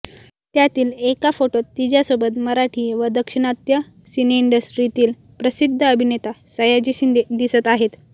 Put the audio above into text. त्यातील एका फोटोत तिच्यासोबत मराठी व दाक्षिणात्य सिनेइंडस्ट्रीतील प्रसिद्ध अभिनेता सयाजी शिंदे दिसत आहेत